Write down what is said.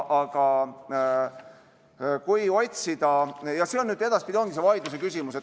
Edaspidi ongi see vaidlusküsimus.